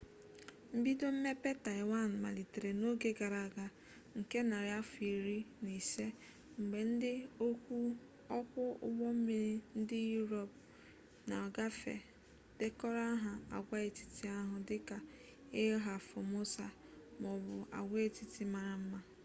mbido mmepe taịwan malitere n'oge gara aga nke narị afọ iri na ise mgbe ndị ọkwụ ụgbọ mmiri ndị yurop na-agafe dekọrọ aha agwaetiti ahụ dị ka ilha formosa ma ọ bụ agwaetiti mara mma